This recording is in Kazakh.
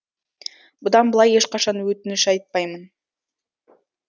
бұдан былай ешқашан өтініш айтпаймын